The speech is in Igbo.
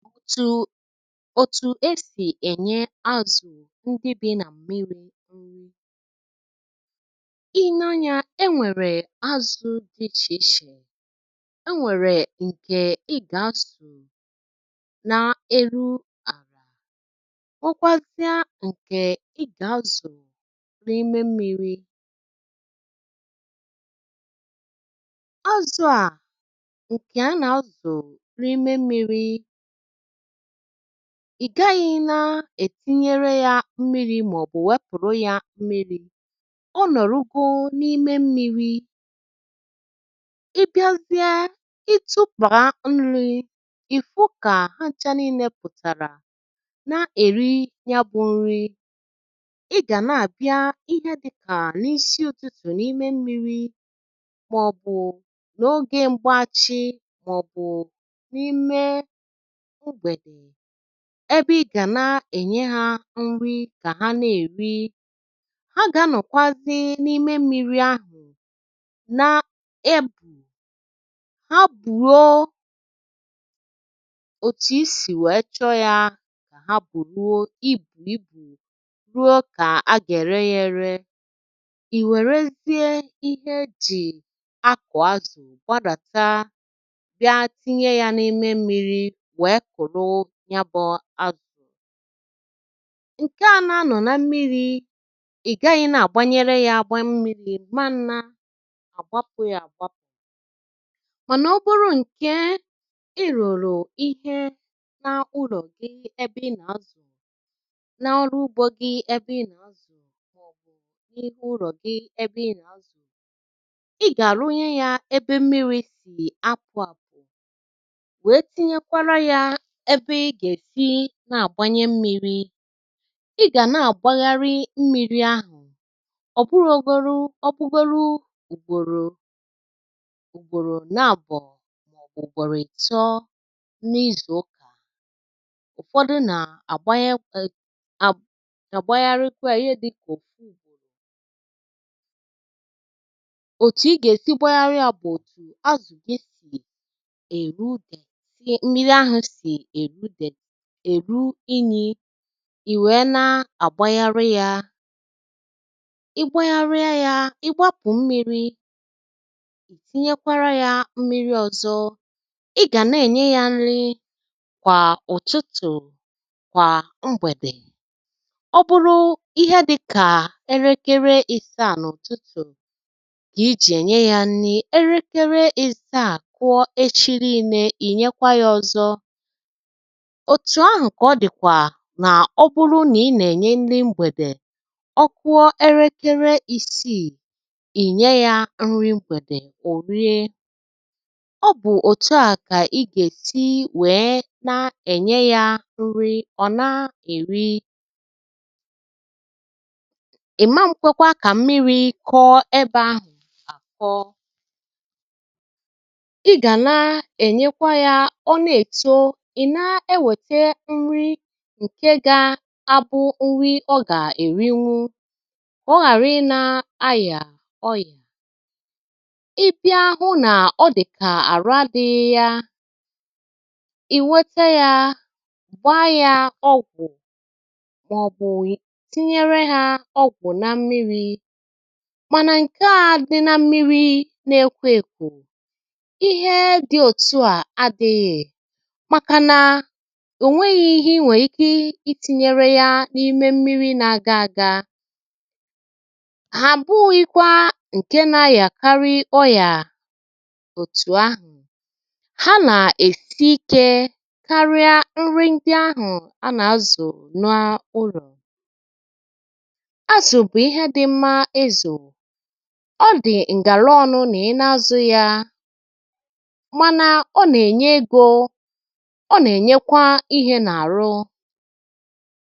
òtù òtù e sì ènye azụ̀ ndị bị nà mmiri̇ i née anyȧ e nwèrè azụ̀ dị ichè ichè e nwèrè ǹkè ị gà-azụ̀ nà-eru àlà Nwekwazie ǹkè ị gà-azụ̀ n’ime mmiri̇ azụ̀ a ǹkè a nà-azụ̀ na ime mmiri̇ ìgaghɪ̇ na-ètinyere yȧ mmiri̇ màọ̀bụ̀ wepụ̀rụ yȧ mmiri̇ ọ nọ̀rụgoo n’ime mmiri̇ ị bịazie ị tụbà nri̇ ị̀ fụ kà ha ṅchȧ n’inėpụ̀tàrà na-èri nyà bụ̇ nri ị gà na-àbịa ihe dịkà n’isi ụtụ̀tụ̀ n’ime mmiri̇ màọ̀bụ̀ n’ogė mgbaachị̇ màọ̀bụ̀ n’ime ụgbede ebe ị gà na-ènye hȧ nri kà ha na-èri ha gà-anọ̀kwazị n’ime mmiri ahụ̀ n’ebù ha bùruo òtù isì wèe chọ yȧ kà ha bùruo ibùlibụ ruo kà agà ere yȧ ere ìwèrezie ihe ejị akọ̀ azụ̀ gbàdàtà bịa tinye yȧ n’ime mmiri wèè kụrụ nya bụ azụ ǹke à na-anọ̀ na mmiri̇, ị̀ gaghị̇ nà-àgbanyere ya agba mmiri̇, i mma na-àgbapụ̇ ya àgbapụ̀ mànà ọ bụrụ ǹkè i rùrù ihe na-ụlọ̀ gị ebe ị nà-azụ̀ na ọrụ ugbȯ gị ebe ị nà-azụ̀ maọbụ na-ime ụlọ gị ebe ina azụ ị gà-àrụ nyeè ya ebe mmiri̇ sì apụ̀ àpụ̀ wèè tinyèkwara ya ebe iga esi na agbanye mmiri igà nà agbayari mmiri ahụ ọbụrugọrụ ụgbọrọ ụgbọrọ na abụ maọbụ igbọrọ itọ na izụ ụka ụfọdụ na agbayarikwà yà ihe dịka ọfụ ụgbọrọ ọ̀tù ị gà-èsi gbayàri yà bụ òtù azù gi si èru dèèti mmiri ahụ sị erụ deèti èru inyì ì wèe na-àgbayari yȧ ị gbayaria yȧ ị gbapụ mmịrị̇ ì tinyekwara yȧ mmịrị̇ ọ̀zọ ị gà na-ènye yȧ nri̇ kwà ụ̀tụtụ̀ kwà mgbèdè ọ bụrụ ihe dị̇kà erekere ìsàà à n’ùtụtụ̀ kà i jì ènye yȧ nri̇ erekere ìsàà kụọ echị n’inė ì nyekwa yȧ ọ̀zọ òtù ahụ kà ọ dị̀ kwà nà ọ bụrụ nà ị nà-ènye ndi mgbèdè ọ kuọ erekere ìsiì ìnye yȧ nri mgbèdè ò rie ọ bụ̀ òtù a kà ị gà-èsi wèe na-ènye yȧ nri ọ̀ na-èri ìma nkwekwa kà mmiri̇ kọọ ebe ahụ̀ àkọ ị gà na-ènyekwa yȧ ọ na-èto ina ewetè nri nke ga-abụ nri ọ gà-èrinwu ka ọ ghàra ị nȧ ayà ọyà ị bịa hụ nà ọ dị̀kà àrụ adị̇ghị ya ì wètè ya gbaa ya ọgwụ̀ màọbụ̀ ị tinye ha ọgwụ̀ na mmiri̇ mànà ǹke a dị na mmiri̇ nà ekọekọ ihe dị òtu à adịghị̀ maka na ò nweghi ihe i nwèe ike ị tinyere ya n’ime mmiri na-aga aga hà bụghikwa ǹke na-ayakarị ọyà òtù ahụ̀ ha nà-èsi ikė karịa nri ndị ahụ̀ a nà-azụ̀ n’ụlọ̀ azụ̀ bụ̀ ihe dị mmȧ izù ọ dị̀ ǹgàlọọnu̇ nà ị na-azụ ya mana ọna enye egọ ọna enyekwa ihe nà-àrụ